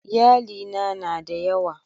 Iyalina na da yawa.